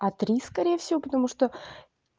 а три смотри скорее всего потому что